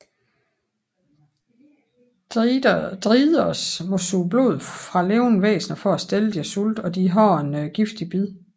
Driders må suge blod fra levende væsner for at stille deres sult og de har et giftigt bid